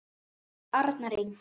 Arnar Ingi.